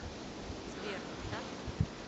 сбер не так ли